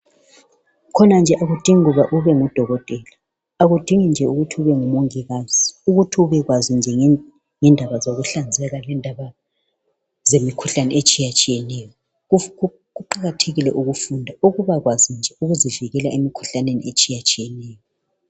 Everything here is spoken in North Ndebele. Khona nje akudingi kuba ube ngudokotela, akudingi nje ukuthi ube ngumongikazi ukuthi ubekwazi nje ngendaba zokuhlanzeka lendaba zemikhuhlane etshiyatshiyeneyo. Kuqakathekile ukufunda ukubakwazi nje ukuzivikela emikhuhlaneni etshiyatshiyeneyo